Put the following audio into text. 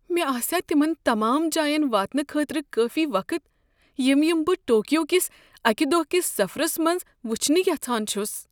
مےٚ آسِیا تمن تمام جاین واتنہٕ خٲطرٕ کٲفی وقت یم یمہٕ بہٕ ٹوکیو کس أکۍ دۄہ کس سفرس منٛز وٕچھنہِ یژھان چھس؟